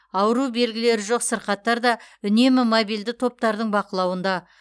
ауру белгілері жоқ сырқаттар да үнемі мобильді топтардың бақылауында